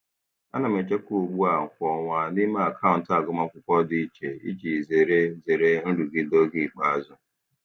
Ana m echekwa ugbu a kwa ọnwa n'ime akaụntụ agụmakwụkwọ dị iche iji zere zere nrụgide oge ikpeazụ.